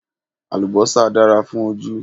Àlùbọ́sà dára fún ojú